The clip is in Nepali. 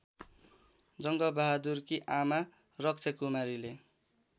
जङ्गबहादुरकी आमा रक्षाकुमारीले